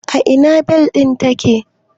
A ina Balin take?